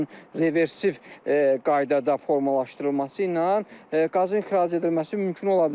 Təbii ki, bunun reversiv qaydada formalaşdırılması ilə qazın ixracı edilməsi mümkün ola bilər.